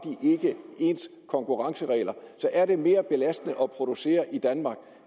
ikke ens konkurrenceregler og så er det mere belastende at producere i danmark